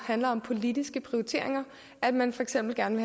handler om politiske prioriteringer at man for eksempel gerne